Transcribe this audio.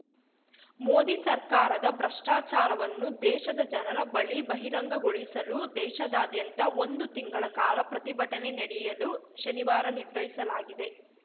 ಮೋದಿ ಸರ್ಕಾರದ ಭ್ರಷ್ಟಾಚಾರವನ್ನು ದೇಶದ ಜನರ ಬಳಿ ಬಹಿರಂಗಗೊಳಿಸಲು ದೇಶಾದಾದ್ಯಂತ ಒಂದು ತಿಂಗಳ ಕಾಲ ಪ್ರತಿಭಟನೆ ನಡೆಸಲು ಶನಿವಾರ ನಿರ್ಧರಿಸಲಾಗಿದೆ